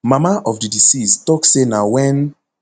mama of di deceased tok say na wen